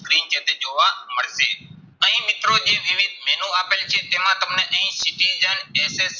screen જે છે જોવા મળશે. અહીં મિત્રો જે જેવી menu આપેલી છે, તેમાં તમને અહીં